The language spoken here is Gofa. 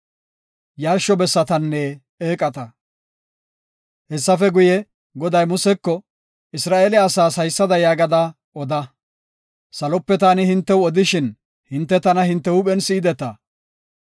Hessafe guye, Goday Museko “Isra7eele asaas haysada yaagada oda; ‘Salope taani hintew odishin hinte tana hinte huuphen be7ideta.